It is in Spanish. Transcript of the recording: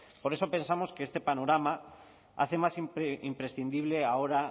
por eso pensamos que este panorama hace más siempre imprescindible ahora